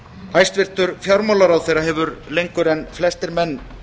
hæstvirtur fjármálaráðherra hefur lengur en flestir menn